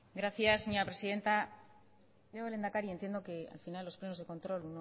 gracias señora presidenta lehendakari entiendo que al final en los plenos de control